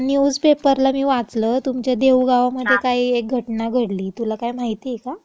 परवा न्यूजपेपरला मी वाचलं, तुमच्या देऊळगावामधे काही एक घटना घडली. तुला काही माहिती आहे का? काय म्हणता बाकी?